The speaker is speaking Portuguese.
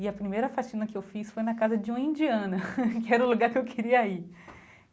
E a primeira faxina que eu fiz foi na casa de uma indiana, que era o lugar que eu queria ir.